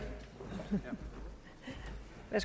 en